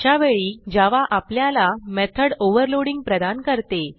अशावेळी जावा आपल्याला method overloading प्रदान करते